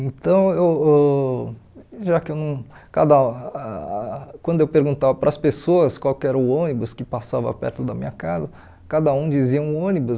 Então, eu ãh já que eu não cada ah quando eu perguntava para as pessoas qual era o ônibus que passava perto da minha casa, cada um dizia um ônibus.